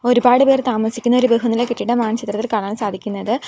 ഒരുപാട് പേർ താമസിക്കുന്ന ഒരു ബഹനില കെട്ടിടമാണ് ചിത്രത്തിൽ കാണാൻ സാധിക്കുന്നത്.